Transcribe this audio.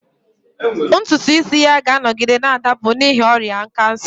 Ntutu isi ya ga-anọgide na-adapụ n'ihi ọrịa kansa